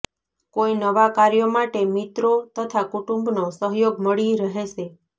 કોઈ નવા કાર્યો માટે મિત્રો તથા કુટુંબ નો સહયોગ મળી રહેશે